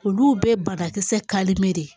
Olu bɛɛ ye banakisɛ de ye